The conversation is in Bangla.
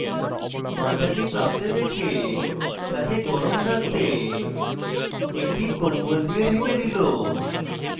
the তাকে কাঁপতে দেখে তাকে warm রাখতে একটি কম্বল দিয়ে ঢেকে child